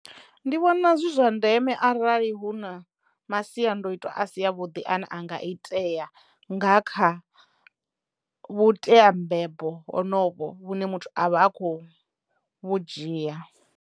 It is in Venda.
Ndi vhona zwi zwa ndeme arali hu na masiandoitwa a si a vhuḓi ane anga iteya nga kha vhuteambebo honovho vhune muthu avha a kho vhu dzhia.